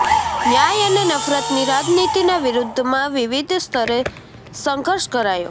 ન્યાય અને નફરતની રાજનીતિના વિરૂદ્ધમાં વિવિધ સ્તરે સંઘર્ષ કરાયો